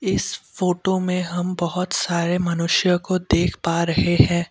इस फोटो में हम बहुत सारे मनुष्य को देख पा रहे हैं।